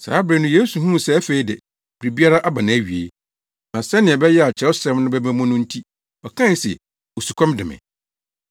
Saa bere no Yesu huu sɛ afei de, biribiara aba nʼawie, na sɛnea ɛbɛyɛ a Kyerɛwsɛm no bɛba mu no nti, ɔkae se, “Osukɔm de me.”